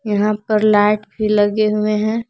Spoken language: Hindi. यहां पर लाइट भी लगे हुए हैं।